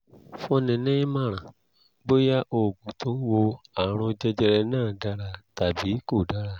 fúnni nímọ̀ràn bóyá oògùn tó ń wo àrùn jẹjẹrẹ náà dára tàbí kò dára